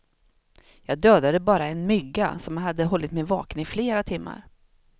Jag dödade bara en mygga som hade hållit mig vaken i flera timmar.